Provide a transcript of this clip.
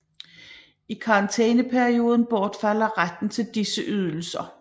I karantæneperioden bortfalder retten til disse ydelser